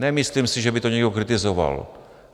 Nemyslím si, že by to někdo kritizoval.